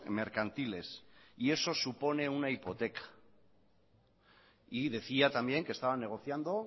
mercantiles y eso supone una hipoteca y decía también que estaba negociando